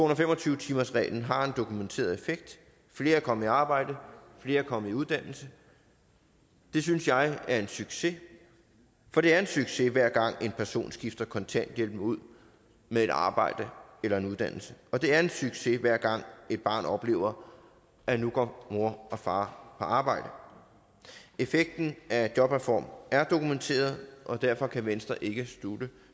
og fem og tyve timersreglen har en dokumenteret effekt flere er kommet i arbejde flere er kommet i uddannelse det synes jeg er en succes for det er en succes hver gang en person skifter kontanthjælpen ud med et arbejde eller en uddannelse og det er en succes hver gang et barn oplever at nu går mor og far på arbejde effekten af jobreformen er dokumenteret og derfor kan venstre ikke